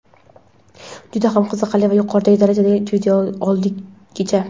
juda ham qiziqarli va yuqoriroq darajadagi video oldik kecha.